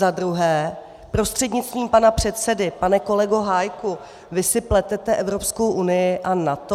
Za druhé prostřednictvím pana předsedy pane kolego Hájku, vy si pletete Evropskou unii a NATO?